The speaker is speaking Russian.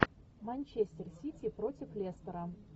манчестер сити против лестера